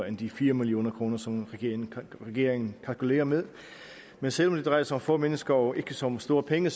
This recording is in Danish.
end de fire million kr som regeringen regeringen kalkulerer med men selv om det drejer sig om få mennesker og ikke så store penge